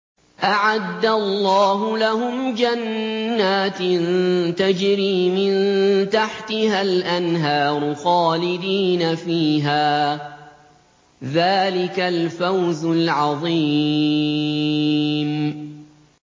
أَعَدَّ اللَّهُ لَهُمْ جَنَّاتٍ تَجْرِي مِن تَحْتِهَا الْأَنْهَارُ خَالِدِينَ فِيهَا ۚ ذَٰلِكَ الْفَوْزُ الْعَظِيمُ